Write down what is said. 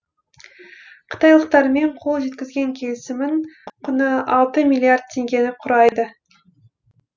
қытайлықтармен қол жеткізген келісімнің құны алты миллиард теңгені құрайды